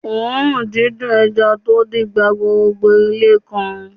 Òórùn dídùn ẹja tó dín gba gbogbo ilé kan